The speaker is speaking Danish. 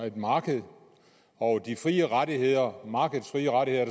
et marked og de frie rettigheder og markedets frie rettigheder